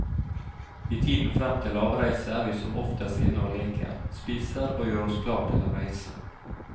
I tiden frem til avreise er vi som oftest inne og leker, spiser og gjør oss klar til å reise.